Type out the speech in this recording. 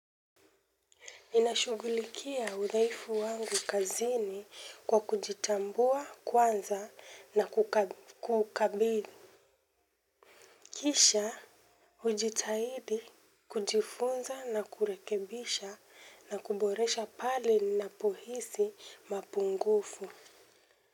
Ninashughulikia udhaifu wangu kazini kwa kujitambua kwanza na kukabili kisha hujitahidi kujifunza na kurekebisha na kuboresha pale ninapohisi mapungufu.